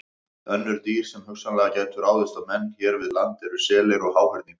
Önnur dýr sem hugsanlega gætu ráðist á menn hér við land eru selir og háhyrningar.